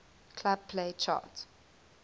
club play chart